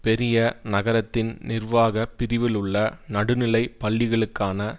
பெரிய நகரத்தின் நிர்வாக பிரிவிலுள்ள நடுநிலை பள்ளிகளுக்கான